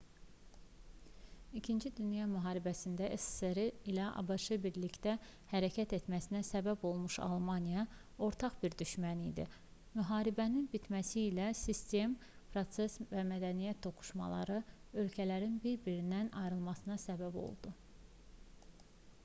ii dünya müharibəsində ssri̇ ilə abş-ın birlikdə hərəkət etməsinə səbəb olmuş almaniya ortaq bir düşmən idi. müharibənin bitməsi ilə sistem proses və mədəniyyət toqquşmaları ölkələrin bir-birindən ayrılmasına səbəb oldu